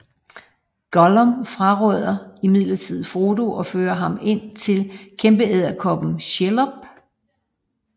Gollum forråder imidlertid Frodo og fører ham ind til kæmpeedderkoppen Shelob